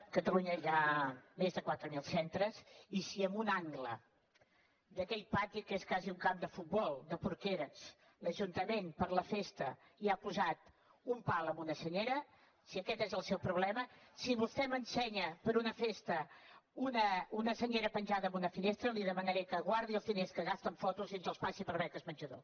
a catalunya hi ha més de quatre mil centres i si en un angle d’aquell pati que és quasi un camp de futbol de porqueres l’ajuntament per la festa hi ha posat un pal amb una senyera si aquest és el seu problema si vostè m’ensenya per una festa una senyera penjada en una finestra li demanaré que guardi els diners que gasta en fotos i ens els passi per a beques menjador